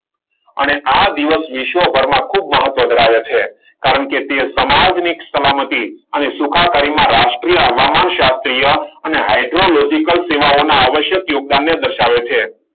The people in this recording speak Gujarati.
અને આ દિવાસ ખૂબ મહત્વ ધરાવે છે. કારણ કે તે સમાજને સલામતી અને સુખાકારીમાં રાષ્ટ્રીય હવામાન શાસ્ત્રી અને હાઇડ્રોલોજીકલ સેવાઓના આવશ્યક યોગદાનને દર્શાવે છે.